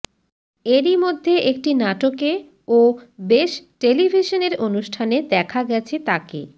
এরই মধ্যে একটি নাটকে ও বেশ টেলিভিশনের অনুষ্ঠানে দেখা গেছে তাকে